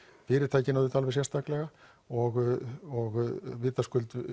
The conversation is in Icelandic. fyrirtækin auðvitað alveg sérstaklega og vitaskuld